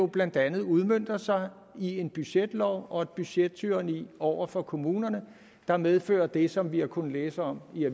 blandt andet udmønter sig i en budgetlov og et budgettyranni over for kommunerne der medfører det som vi har kunnet læse om i